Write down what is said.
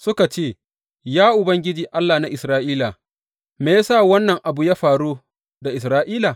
Suka ce, ya Ubangiji, Allah na Isra’ila, Me ya sa wannan abu ya faru da Isra’ila?